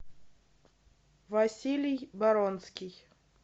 василий баронский